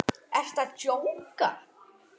Ertu að djóka?